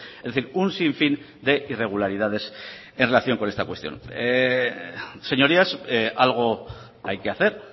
es decir un sinfín de irregularidades en relación con esta cuestión señorías algo hay que hacer